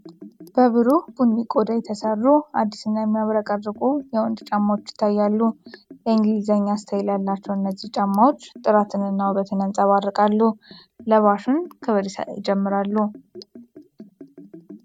በብሩህ ቡኒ ቆዳ የተሰሩ አዲስና የሚያብረቀርቁ የወንዶች ጫማዎች ይታያሉ። የእንግሊዝኛ ስታይል ያላቸው እነዚህ ጫማዎች ጥራትንና ውበትን ያንፀባርቃሉ፤ ለባሹን ክብር ይጨምራሉ።